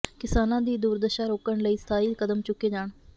ਕਿਸਾਨਾਂ ਦੀ ਦੁਰਦਸ਼ਾ ਰੋਕਣ ਲਈ ਸਥਾਈ ਕਦਮ ਚੁੱਕੇ ਜਾਣ